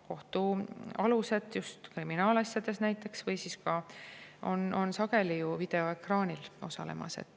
et kohtualused, just kriminaalasjades näiteks, osalevad sageli videoekraani kaudu.